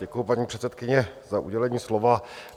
Děkuji, paní předsedkyně, za udělení slova.